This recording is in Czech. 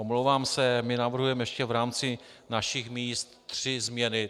Omlouvám se, my navrhujeme ještě v rámci našich míst tři změny.